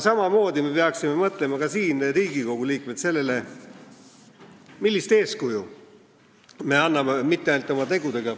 Samamoodi me peaksime mõtlema ka Riigikogu liikmetena sellele, millist eeskuju me anname mitte ainult oma tegudega ...